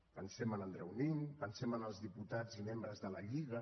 pensem en andreu nin pensem en els diputats i membres de la lliga